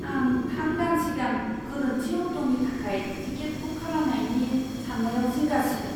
आं थाम दान सिगां गोरोन्थि अक्ट'नि थाखाय टिकेट बुक खालामनायनि सान्नायाव जिंगा सिदों।